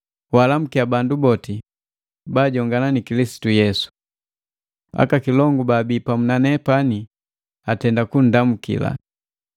Walamukiya bandu boti bajongini ni Kilisitu Yesu. Aka kilongu baabi pamu nanepani pamba atenda kunndamuki.